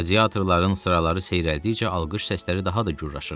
Qladiatorların sıraları seyrəldikcə alqış səsləri daha da gürlaşırdı.